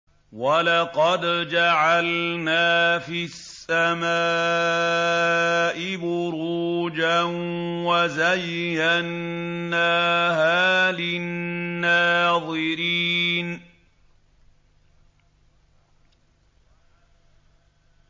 وَلَقَدْ جَعَلْنَا فِي السَّمَاءِ بُرُوجًا وَزَيَّنَّاهَا لِلنَّاظِرِينَ